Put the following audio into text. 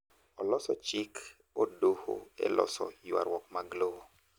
oloso jik od doho e loso ywaruok mag lowo